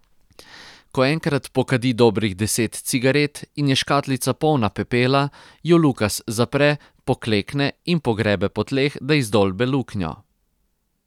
Ko enkrat pokadi dobrih deset cigaret in je škatlica polna pepela, jo Lukas zapre, poklekne in pogrebe po tleh, da izdolbe luknjo.